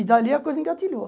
E dali a coisa engatilhou.